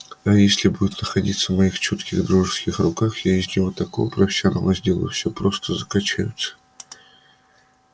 а если будет находиться в моих чутких дружеских руках я из него такого профессионала сделаю все просто закачаются